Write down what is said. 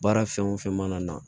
Baara fɛn o fɛn mana na